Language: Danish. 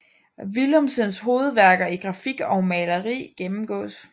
Willumsens hovedværker i grafik og maleri gennemgås